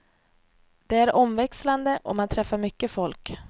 Det är omväxlande och man träffar mycket folk.